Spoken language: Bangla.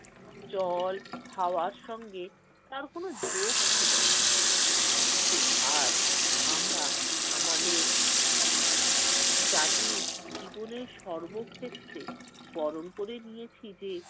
জল-হাওয়ার সঙ্গে তার কোন যোগ ছিল না। কিন্তু আজ আমরা আমাদের জাতির জীবনে সর্ব ক্ষেত্রে বরণ করে নিয়েছি যে,